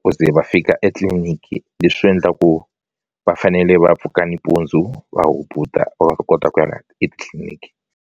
ku ze va fika etliliniki leswi endla ku va fanele va pfuka nimpundzu va hubuta va ta kota etitliniki.